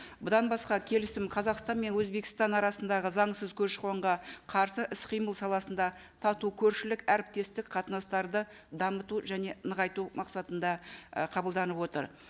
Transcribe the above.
бұдан басқа келісім қазақстан мен өзбекстан арасындағы заңсыз көші қонға қарсы іс қимыл саласында тату көршілік әріптестік қатынастарды дамыту және нығайту мақсатында ы қабылданып отыр